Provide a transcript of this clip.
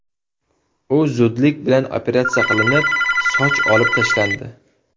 U zudlik bilan operatsiya qilinib, soch olib tashlandi.